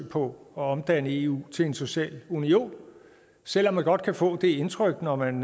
på at omdanne eu til en social union selv om man godt kan få det indtryk når man